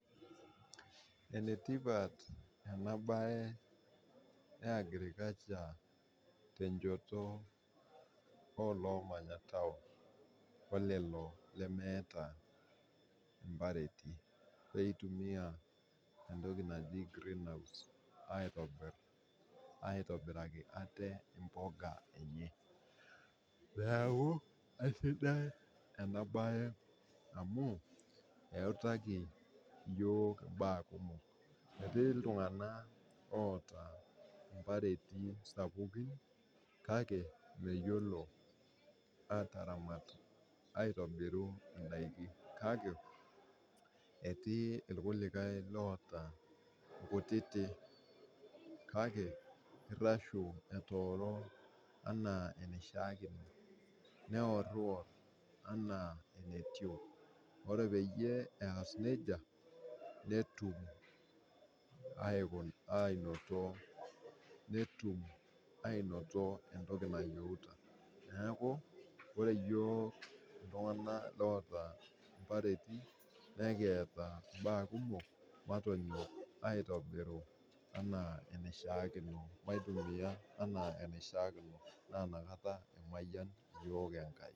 Enetipat ena baye e agriculture te nchoto o loomanya taon o lelo lemeeta impareti oitumiya entoki najii green house aitobiraki ate imboga enye, naake esidai ena baye amuu eituaki yook imbaa kumok. Etii ltungana oota impareti sapuki kake meyiolo aataramat aitobiru indaki kake etii lkulikai oota nkuttiti kake irashu etooro enaa enashaakino, neor'ior' anaa eneitio. Ore peyie eas neja, netum ainoto entoki nayeuta, naaku ore yook ltungana loota impareti nekieta imbaa kumok matonyok aitobiru anaa eneishaakino, maitumiya anaa eneishaakino naa inakata emayan yook Enkai.